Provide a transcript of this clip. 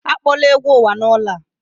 Akpọla egwu uwa n'ụlọ a!